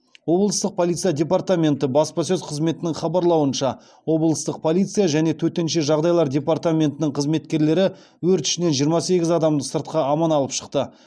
облыстық полиция департаменті баспасөз қызметінің хабарлауынша облыстық полиция және төтенше жағдайлар департаментінің қызметкерлері өрт ішінен жиырма сегіз адамды сыртқа аман алып шықты